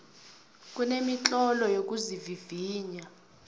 kunemitlolo yokuzivivinya